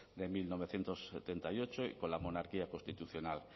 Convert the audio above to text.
de mil novecientos setenta y ocho y con la monarquía constitucional